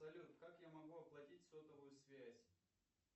салют как я могу оплатить сотовую связь